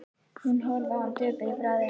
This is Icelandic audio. Hún horfði á hann döpur í bragði.